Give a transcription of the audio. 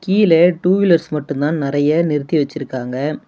கீழ two wheelers மட்டுதான் நெறைய நிறுத்தி வெச்சிருக்காங்க.